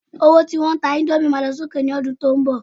owo tí won ta Indomie ma lọ sí òkè mi ọdún tínbọ̀